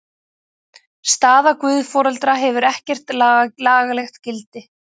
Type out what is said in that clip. Staða guðforeldra hefur ekkert lagalegt gildi.